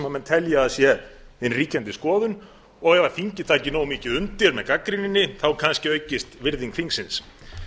sem menn telja að sé hin ríkjandi skoðun og ef ríkið taki nógu mikið undir með gagnrýninni þá kannski aukist virðing þingsins